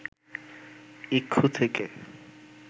ইক্ষু থেকে